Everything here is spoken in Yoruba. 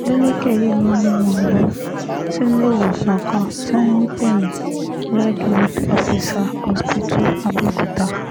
adeleke yìí ló mú wọn lọ síléèwọ̀sán kan tí wọ́n ń pè ní redwood officer hospital abeokuta